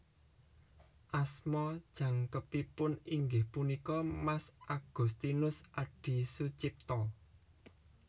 Asma jangkepipun inggih punika Mas Agoestinoes Adi Soetjipto